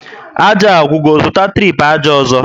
Ájá agwụgo, zụta tripu ájá ọzọ